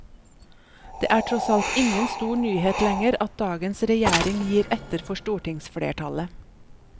Det er tross alt ingen stor nyhet lenger at dagens regjering gir etter for stortingsflertallet.